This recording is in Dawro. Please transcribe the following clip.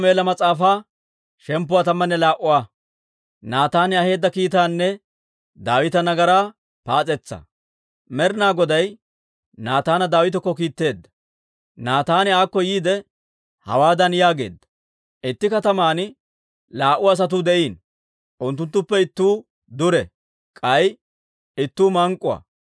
Med'inaa Goday Naataana Daawitakko kiitteedda; Naataan aakko yiide, hawaadan yaageedda; «Itti kataman laa"u asatuu de'iino; unttuttuppe ittuu dure; k'ay ittuu mank'k'uwaa.